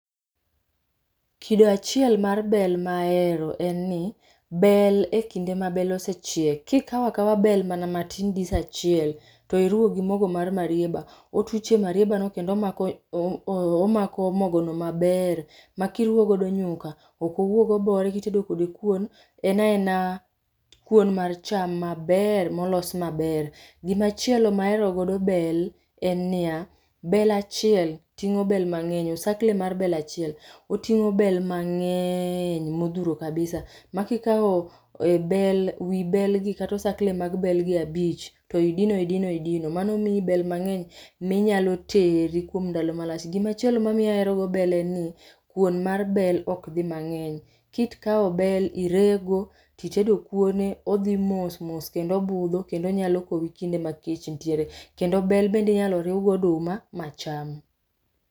Kido achiel mar bel mahero en ni bel ekinde ma bel osechiek, kikaw akawa bel mana matin dis achiel to iriwo gi mogo mar marieba, otuch e marieba mo kendo omako, omako mogo no maber makiruo godo nyuka ok owuog obore, kitedo kode kuon en aena kuon mar cham maber molos maber. Gimachielo mahero godo bel en niya, bel achiel tingo bel mangeny, osakle mar bel achiel otingo bel mangeny modhuro kabisa makikao e bel ,wii bel kata osakle mag bel gi abich to idino idino idino mano miyi bel mangeny minyalo tedo kuom ndalo mlach. Gimachielo mamiyo ahero bel en ni kuon mar bel ok dhii mangeny. Kikaw bel irego titedo kuone odhi mos mos kendo obudho kendo onyalo kowi kinde ma kech nitiere, kendo bel be inyalo riw gi oduma macham